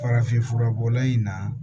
Farafin furabɔla in na